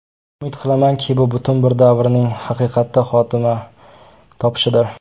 Umid qilamanki, bu butun bir davrning haqiqatda xotima topishidir.